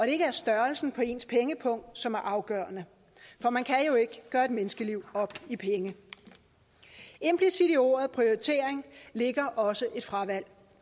ikke er størrelsen på ens pengepung som er afgørende for man kan jo ikke gøre et menneskeliv op i penge implicit i ordet prioritering ligger også et fravalg